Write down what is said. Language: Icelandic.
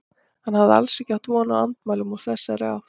Hann hafði alls ekki átt von á andmælum úr þessari átt.